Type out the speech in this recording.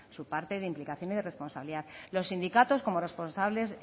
su parte de implicación y responsabilidad los sindicatos como